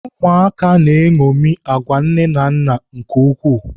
Ụmụaka na-eṅomi agwa nne na nna nke ukwuu.